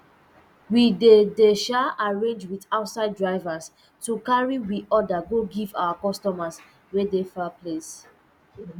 we dey dey um arrange with outside drivers to carry um order go give our customers wey dey far place